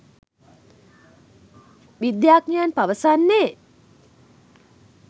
විද්‍යාඥයන් පවසන්නේ.